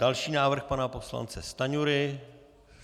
Další návrh pana poslance Stanjury.